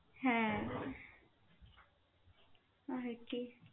হ্যা, ঐ আর কি.